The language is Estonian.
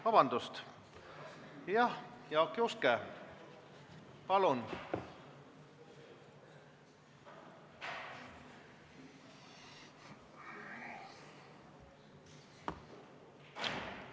Vabandust, jah, Jaak Juske, palun!